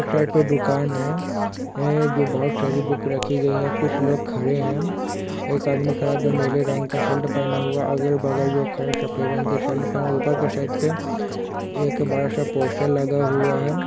Side पे दुकान है जो बोहोत सारी बुक रखी गई है कुछ लोग खड़े है एक आदमी खड़ा जो नीले रंग का शर्ट पहना हुआ है अगल बगल जो खड़े सफ़ेद रंग के शर्ट पहना ऊपर के साइड पे एक बड़ा सा पोस्टर लगा हुआ है।